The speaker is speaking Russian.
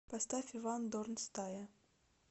поставь иван дорн стая